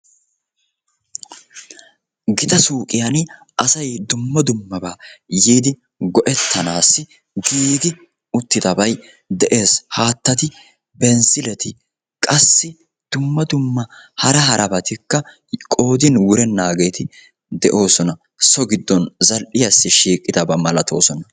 Gita suuqqiyan asay dumma dummabaa yiidi go"ettanaassi giiggi uttidabay de'ees. Haattati binzileti qassi dumma dumma hara harabatikka qoodin wurennaageeti de'oosona. So giddon zal"iyaassi shiiqqidabaa malatoosona.